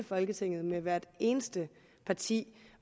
folketinget med hvert eneste parti